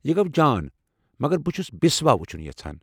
یہِ گوٚو جان، مگر بہٕ چھس بسوا وٕچھُن یژھان۔